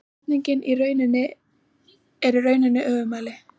Spurningin er í rauninni öfugmæli